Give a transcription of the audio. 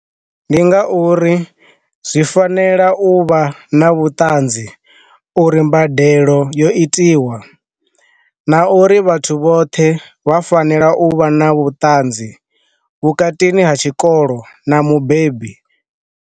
Ndi nga uri zwi fanela u vha na vhuṱanzi u ri mbadelo yo itiwa, na uri vhathu vhoṱhe vha fanela u vha na vhuṱanzi vhukatini ha tshikolo na mubebi.